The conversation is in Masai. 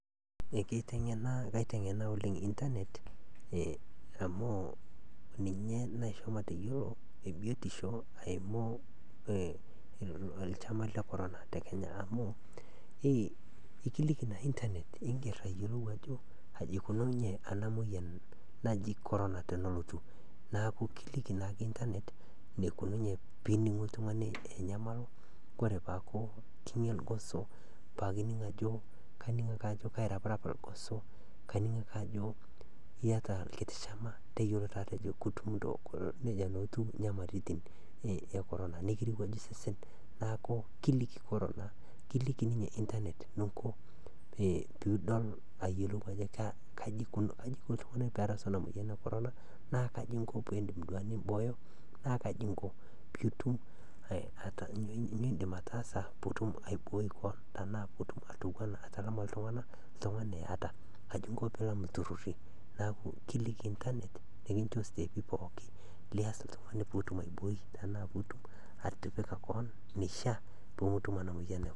Kaaiteng'ena oleng' internet amu ninye naaishoo mateyuolo biotisho aimu lchama le Corona te Kenya amu ikiliki naa internet ingerr ayuolou ajo aji eikununye ana moyian naji Corona poolotu naaku kiliki naake internet neikununye ana moyian poolotu. Kore ake piining' ako kairaprap lgoso, piining' ajo kairewua sesen neja taa etuu nyamalitin e Corona . Naaku kiliki ninye internet nunko puudol ako kaji eiko ltung'ani peerasu ana moyian, nunko piirishie koon ana moyian. Naa kaji inko piindim duake nimbooyo naa kaji inko piilam lturrurri. Naaku kiliki internet nikincho siteepi pookin lias ltung'ani puutum aibooi tanaa puutum atipika koon neishiaa puumutum ana moyian e Corona